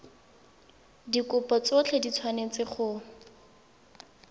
dikopo tsotlhe di tshwanetse go